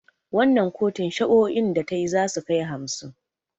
Wannan kotun shari'o'in da tayi zasu kai hamsin